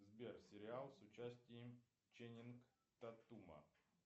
сбер сериал с участием ченнинг татума